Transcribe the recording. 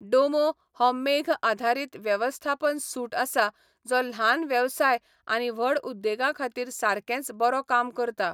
डोमो हो मेघ आधारीत वेवस्थापन सुट आसा जो ल्हान वेवसाय आनी व्हड उद्देगां खातीर सारकेच बरो काम करता.